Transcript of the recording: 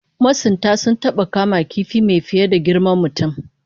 Masuntan sun taba kama kifi mai fiye da girman mutum